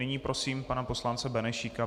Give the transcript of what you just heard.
Nyní prosím pana poslance Benešíka.